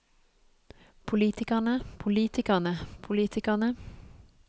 politikerne politikerne politikerne